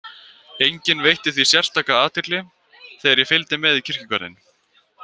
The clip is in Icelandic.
Enginn veitti því sérstaka athygli þegar ég fylgdi með í kirkjugarðinn.